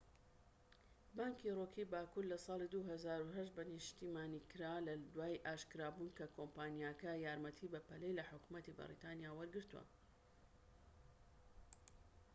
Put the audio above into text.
بانکی ڕۆکی باکوور لە ساڵی 2008 بە نیشتیمانیکرا لە دوای ئاشکرابوون کە کۆمپانیاکە یارمەتی بەپەلەی لە حکومەتی بەریتانیا وەرگرتووە